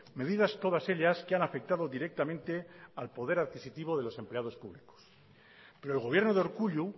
medidas todas ellas que han afectado directamente al poder adquisitivo de los empleados públicos pero el gobierno de urkullu